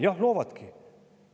Jah, loovadki.